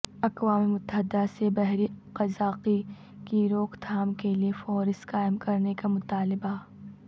اقوام متحدہ سے بحری قزاقی کی روک تھام کے لیے فورس قائم کرنے کا مطالبہ